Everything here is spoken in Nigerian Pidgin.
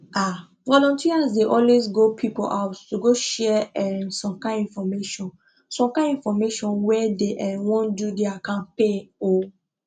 um volunteers dey always go people house to go share um some kind infomation some kind infomation when dey um wan do their campaign um